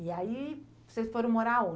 E aí vocês foram morar aonde?